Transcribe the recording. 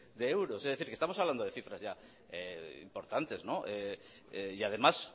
de euros es decir que estamos hablando de cifras ya importantes y además